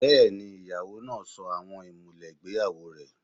Bẹ́ẹ̀ni, ìyàwó náà sọ àwọn ìmùlẹ̀ ìgbéyàwó rẹ̀